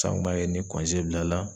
Sa an kun b'a kɛ ni bilala